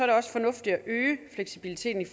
det også fornuftigt at øge fleksibiliteten